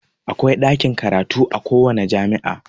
Akwai ɗakin karatu a kowanne jami'a